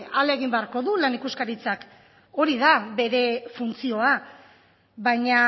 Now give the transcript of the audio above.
ahalegin beharko du lan ikuskaritzak hori da bere funtzioa baina